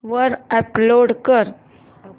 वर अपलोड कर